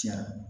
Tiɲɛ